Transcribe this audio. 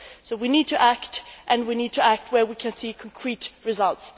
We need to act, and we need to act where we can see concrete results.